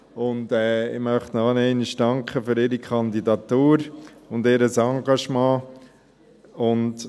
Ich möchte ihnen noch einmal für ihre Kandidatur und ihr Engagement danken.